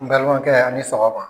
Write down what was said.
N balimakɛ ani sɔgɔma.